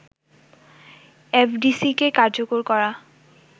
এফডিসিকে কার্যকর করা